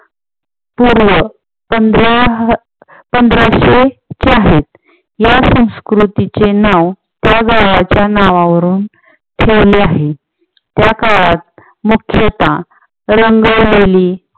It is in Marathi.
पूर्व पंधराअह पंधराशे या संस्कृतीचे नाव त्या गावाच्या नावावरून ठेवले आहे. त्या काळात मुख्यतः रंगवलेली